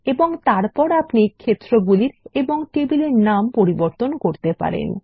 এবং তারপর আপনি ক্ষেত্রগুলির এবং টেবিল এর নাম পরিবর্তন করতে পারেন